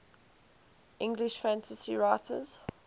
english fantasy writers